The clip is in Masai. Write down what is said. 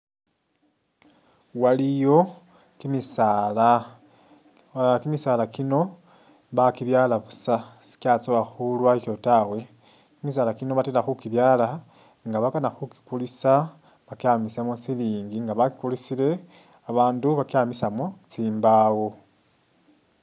Waliyo kimisaala, ah kimisaala kino bakibyala busa sikyatsowa khulwakyo tawe, kimisaala kino batela khukibyaala nga bakana khukikulisa bakyamisemu silingi, nga bakikulisile babandu bakyamisamo tsimbawo